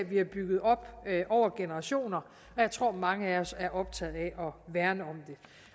vi har bygget op over generationer og jeg tror at mange af os er optaget af at værne